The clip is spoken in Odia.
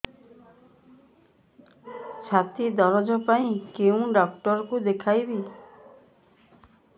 ଛାତି ଦରଜ ପାଇଁ କୋଉ ଡକ୍ଟର କୁ ଦେଖେଇବି